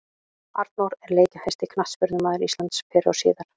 Arnór er leikjahæsti knattspyrnumaður Íslands fyrr og síðar.